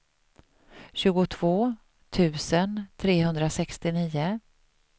tjugotvå tusen trehundrasextionio